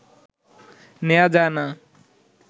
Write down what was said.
নেয়া যায়না